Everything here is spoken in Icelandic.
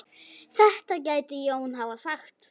Þetta gæti Jón hafa sagt.